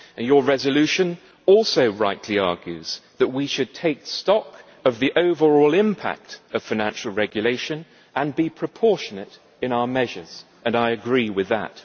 Your resolution also rightly argues that we should take stock of the overall impact of financial regulation and be proportionate in our measures, and I agree with that.